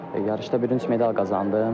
Yarışda bürünc medal qazandım.